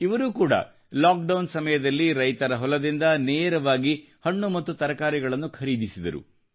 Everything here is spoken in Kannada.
ಇವರೂ ಕೂಡ ಲಾಕ್ಡೌನ್ ಸಮಯದಲ್ಲಿ ರೈತರ ಹೊಲದಿಂದ ನೇರವಾಗಿ ಹಣ್ಣು ಮತ್ತು ತರಕಾರಿಗಳನ್ನು ಖರೀದಿಸಿದರು